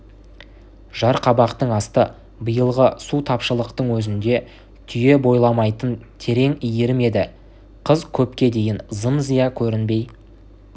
жарқабақтың асты биылғы су тапшылықтың өзінде түйе бойламайтын терең иірім еді қыз көпке дейін зым-зия көрінбей